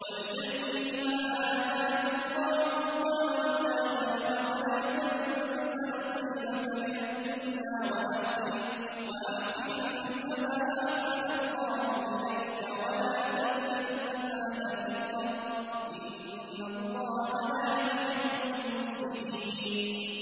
وَابْتَغِ فِيمَا آتَاكَ اللَّهُ الدَّارَ الْآخِرَةَ ۖ وَلَا تَنسَ نَصِيبَكَ مِنَ الدُّنْيَا ۖ وَأَحْسِن كَمَا أَحْسَنَ اللَّهُ إِلَيْكَ ۖ وَلَا تَبْغِ الْفَسَادَ فِي الْأَرْضِ ۖ إِنَّ اللَّهَ لَا يُحِبُّ الْمُفْسِدِينَ